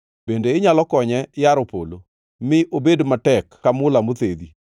bende inyalo konye yaro polo, mi obed matek ka mula mothedhi?